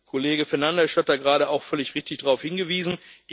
Kollege Fernandes hat da gerade auch völlig richtig darauf hingewiesen.